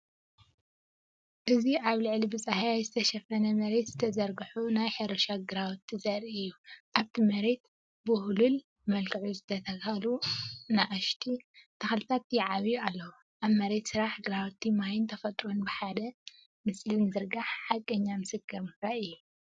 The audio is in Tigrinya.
እዚ ኣብ ልዕሊ ብጻህያይ ዝተሸፈነ መሬት ዝተዘርግሑ ናይ ሕርሻ ግራውቲ ዘርኢ እዩ። ኣብቲ መሬት ብውህሉል መልክዕ ዝተተኽሉ ንኣሽቱ ተኽልታት ይዓብዩ ኣለዉ፣ ኣብ መሬት ስራሕ! ግራውቲ፡ ማይን ተፈጥሮን ብሓደ ምስሊ ምዝርጋሕ - ሓቀኛ ምስክር ምፍራይ እዩ።